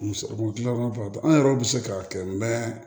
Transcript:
Muso gilan yɔrɔ dɔ an yɛrɛw bi se k'a kɛ mɛ